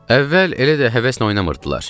Əvvəl elə də həvəslə oynamırdılar.